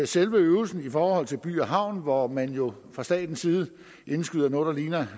selve øvelsen i forhold til by havn hvor man jo fra statens side indskyder noget der ligner